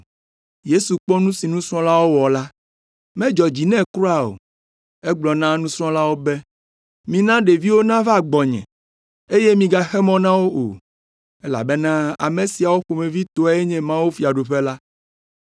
Yesu kpɔ nu si nusrɔ̃lawo wɔ la, medzɔ dzi nɛ kura o. Egblɔ na nusrɔ̃lawo be, “Mina ɖeviwo nava gbɔnye, eye migaxe mɔ na wo o, elabena ame siawo ƒomevi tɔe nye mawufiaɖuƒe la!